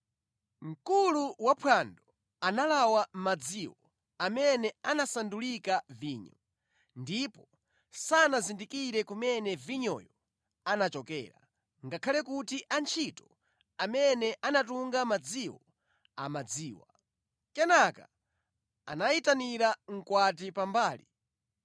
Mkulu waphwando analawa madziwo amene anasandulika vinyo, ndipo sanazindikire kumene vinyoyo anachokera, ngakhale kuti antchito amene anatunga madziwo amadziwa. Kenaka anayitanira mkwati pambali